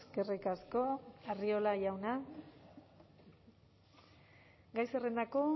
eskerrik asko arriola jauna gai zerrendako